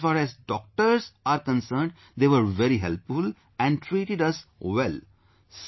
And as far as doctors are concerned, they were very helpful and treated us well...